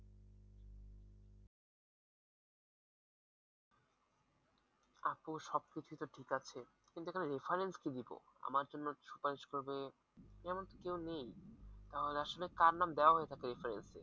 আপু সবকিছু তো ঠিক আছে কিন্তু এখানে reference কি দিব আমার জন্য সুপারিশ করবে এমনতো কেউ নেই তাহলে আসলে কারো নাম দেওয়া হয়ে থাকে reference এ?